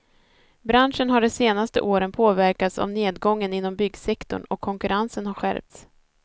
Branschen har de senaste året påverkats av nedgången inom byggsektorn och konkurrensen har skärpts.